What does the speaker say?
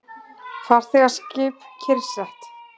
Farþegaskip kyrrsett